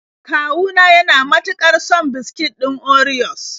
Kawu na yana mutuƙar son biskit ɗin orios.